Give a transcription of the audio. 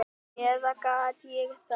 Eða gat ég það?